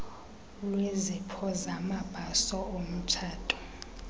lwezipho zamabhaso omtshato